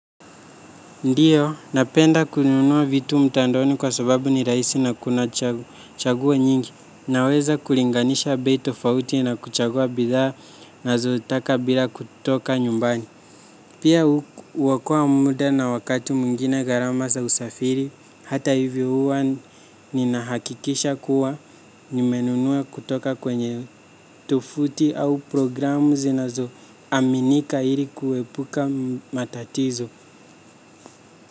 Ndiyo, napenda kununua vitu mtandaoni kwa sababu ni rahisi na kuna chaguo nyingi, naweza kulinganisha bei tofauti na kuchagua bidhaa ninazo taka bila kutoka nyumbani. Pia huokoa muda na wakati mwingine gharama za usafiri, hata hivyo huwa nina hakikisha kuwa nimenunua kutoka kwenye tovuti au programu zinazo aminika ili kuepuka matatizo.